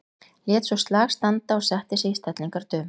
Lét svo slag standa og setti sig í stellingar dömu.